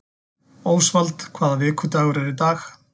Ósvald, hvaða vikudagur er í dag?